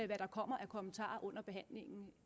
hvad der kommer af kommentarer under behandlingen